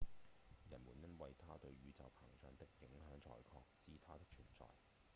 人們因為它對宇宙膨脹的影響才確知它的存在